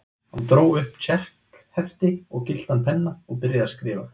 Hann dró upp tékkhefti og gylltan penna og byrjaði að skrifa.